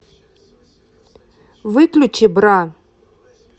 выключи бра